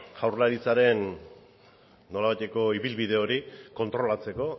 jaurlaritzaren nolabaiteko ibilbide hori kontrolatzeko